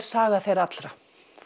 saga þeirra allra